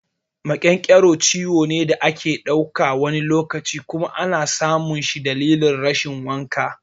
Maƙyanƙyaro ciwo ne da ake dauka, wani lokaci kuma ana samun shi dalilin rashin wanka.